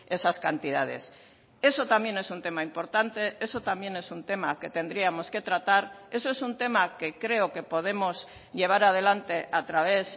esas cantidades eso también es un tema importante eso también es un tema que tendríamos que tratar eso es un tema que creo que podemos llevar adelante a través